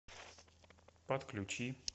подключи